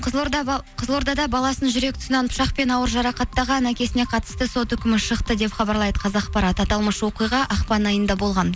қызылордада баласын жүрек тұсынан пышақпен ауыр жарақаттаған әкесіне қатысты сот үкімі шықты деп хабарлайды қазақпарат аталмыш оқиға ақпан айында болған